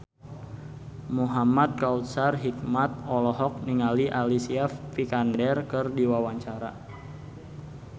Muhamad Kautsar Hikmat olohok ningali Alicia Vikander keur diwawancara